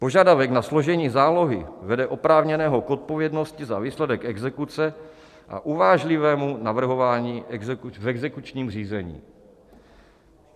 Požadavek na složení zálohy vede oprávněného k odpovědnosti za výsledek exekuce a uvážlivému navrhování v exekučním řízení.